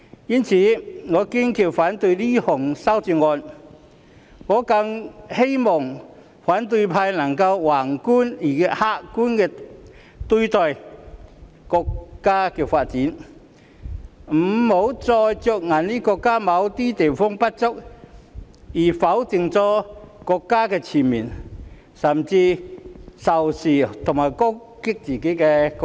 因此，我堅決反對這項修正案，我更希望反對派能以宏觀及客觀的態度來對待國家的發展，別再着眼於國家某些方面的不足，而全面否定國家，甚至仇視和攻擊自己的國家。